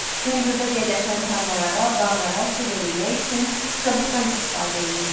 Hündürdə yerləşən tarlalara, bağlara su verilmək üçün şaduftan istifadə olunurdu.